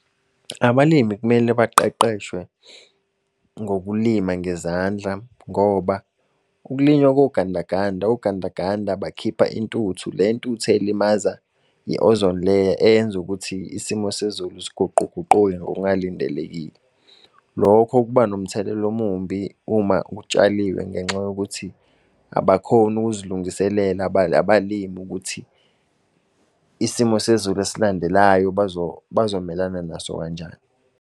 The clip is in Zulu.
Abalimi kumele baqeqeshwe ngokulima ngezandla ngoba ukulinywa kogandaganda, ogandaganda bakhipha intuthu. Le ntuthu elimaza i-ozone layer, eyenza ukuthi isimo sezulu siguquguquke ngokungalindelekile. Lokho kuba nomthelelo omubi uma kutshaliwe, ngenxa yokuthi abakhoni ukuzilungiselela abalimi ukuthi isimo sezulu esilandelayo bazomelana naso kanjani.